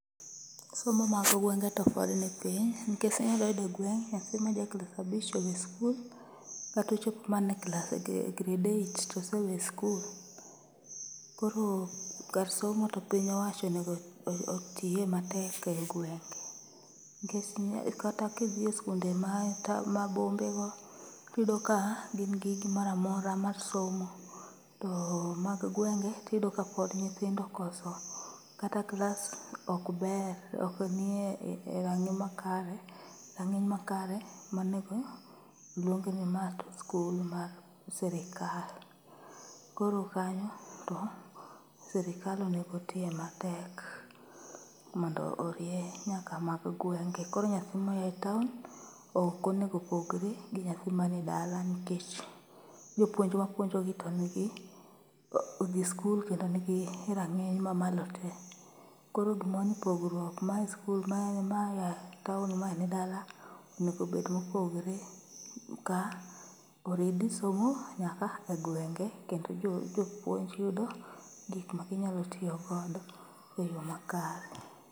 Somo mag gwenge to pod nipiny, nikech inyalo yudo gweng' nyathi ma ja klas abich owe skul katochop mana e klas, grade eight tosewe skul. Koro kar somo to piny owacho onego otiye matek e gwenge. Nikech kata kidhi e skunde ma e ta, ma bombe go tiyudo ka gin gi gimoramora mar somo. To mag gwenge tiyudo ka pod nyithindo okoso, kata klas ok ber, oknie rang'i makare, rang'iny makare manego luong ni ma to skul mar sirikal. Koro kanyo to sirikal onego otiye matek mondo orie nyaka mag gwenge. Koro nyathi mane taon okonego pogre gi nyathi mane dala nikech jpuonj mapuonjogi to odhi skul kendo nigi rang'iny mamalo te. Koro gimoro ni pogruok mae skul mae taon mae ni dala onego obed mogore ni ka oridi somo nyaka e gwenge kendo jopuonj yudo gik ma ginyalo tiyo godo e yo makare.